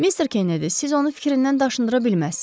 Mister Kennedy, siz onu fikrindən daşındıra bilməzsiz.